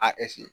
A